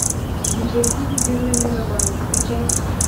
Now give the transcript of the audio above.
видеофильм первая мировая закачай